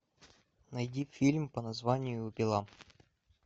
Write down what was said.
найди фильм по названию пила